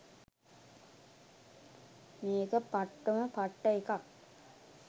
මේක පට්ටම පට්ට එකක්